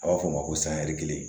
A b'a fɔ o ma ko sanyɛri kelen